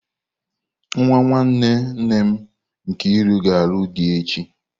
Nwa nwanne nne m Nkiru na-alụ di echi.